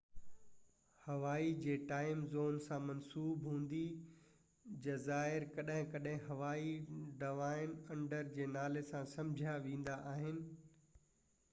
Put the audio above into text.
هوائي جي time zone سان منسوب هوندي جزائر ڪڏهن ڪڏهن هوائي ڊائون انڊر جي نالي سان سمجهيا ويندا آهن